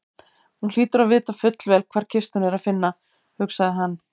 Hún hlýtur að vita fullvel hvar kistuna er að finna, hugsaði hann.